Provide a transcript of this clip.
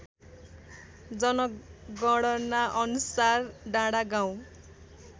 जनगणनाअनुसार डाँडागाउँ